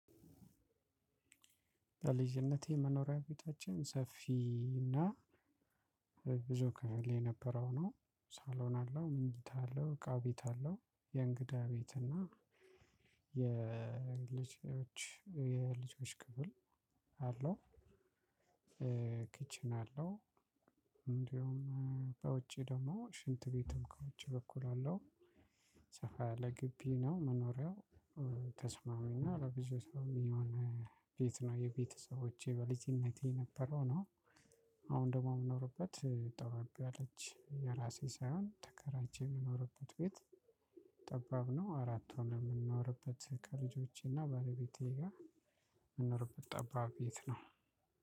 በልጅነቴ መኖሪያ ቤታችን ሰፊ እና ብዙ ክፍል የነበረው ነው ሳሎን አለው ምኝታ አለው እቃ ቤት አለው የእንግዳ ቤት እና የልጆች የልጆች ክፍል አለው። አለው እንደውም በውጪ ደግሞ ሽንት ቤትም ከውጪ በኩል አለው። ሰፋ ያለ ግቢ ነው መኖሪያው። ተስማሚና ለብዙ ሰው የሚሆን ቤት ነው የቤተሰቦቼ በልጅነቴ የነበረው ነው። አሁን ደግሞ የምኖርበት ጠበብ ያለች የራሴ ሳይሆን ተከራይቼ የምኖርበት ቤት ጠባብ ነው። አራት ሆነን የምንኖርበት ከልጆቼና ባለቤቴ ጋር የምንኖርበት ጠባብ ቤት ነው።